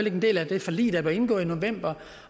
en del af det forlig der blev indgået i november